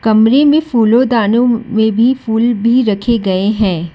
कमरे में फूलों दानों में भी फूल भी राखे गाए है।